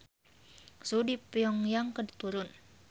Suhu di Pyong Yang keur turun